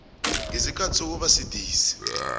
ngesikhathi sokuba sidisi